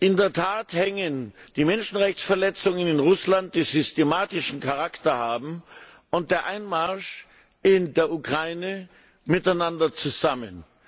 In der Tat hängen die Menschenrechtsverletzungen in Russland, die systematischen Charakter haben, und der Einmarsch in der Ukraine zusammen.